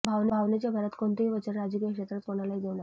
भावनेच्या भरात कोणतेही वचन राजकीय क्षेत्रात कुणालाही देऊ नका